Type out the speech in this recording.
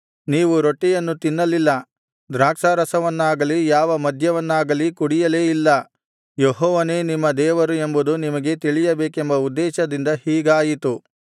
ನೀವು ರೊಟ್ಟಿಯನ್ನು ತಿನ್ನಲಿಲ್ಲ ದ್ರಾಕ್ಷಾರಸವನ್ನಾಗಲಿ ಯಾವ ಮದ್ಯವನ್ನಾಗಲಿ ಕುಡಿಯಲೇ ಇಲ್ಲ ಯೆಹೋವನೇ ನಿಮ್ಮ ದೇವರು ಎಂಬುದು ನಿಮಗೆ ತಿಳಿಯಬೇಕೆಂಬ ಉದ್ದೇಶದಿಂದ ಹೀಗಾಯಿತು